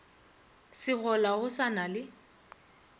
segola go sa na le